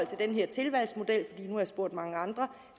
til den her tilvalgsmodel fordi nu har jeg spurgt mange andre